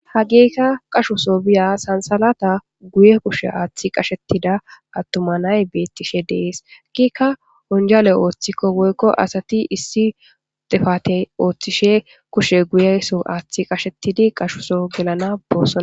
hagiikka qashso biya sansalata guye kushe aaththi qashetida attumanay beettishe dees hagikka onjale ooththikko woykko asati issi defatey ooththishe kushe guyeso aaththi qashetidi qashuso gelana boossona